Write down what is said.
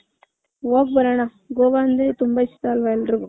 ಹೋಗ್ ಬರೋಣ ಗೋವ ಅಂದ್ರೆ ತುಂಬಾ ಇಷ್ಟ ಅಲ್ವ ಎಲ್ರಿಗೂ .